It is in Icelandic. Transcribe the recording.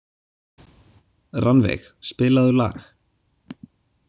Rannveig, spilaðu lag.